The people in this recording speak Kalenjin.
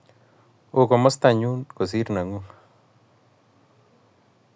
Oo komostangun kosir nanyu